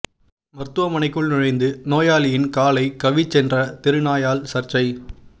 மருத்துவமனைக்குள் நுழைந்து நோயாளியின் காலை கவ்விச் சென்ற தெரு நாயால் சர்ச்சை